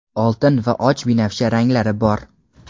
oltin va och binafsha ranglari bor.